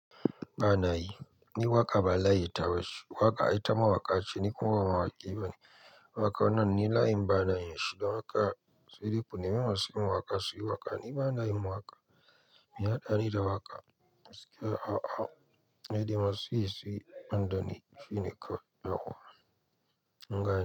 Bana yi ni waka balayi ta bace waka ai ta mawaka ce ni kuma ba mawaki bane waka wannan ni layin bana yin shin don haka sai dai ku nemi masu yin waka su yi waka ni bana yin waka meua haɗani da waka Gaskiya a a nidai masu yi su yi banda ni shi ne kawai yawwa.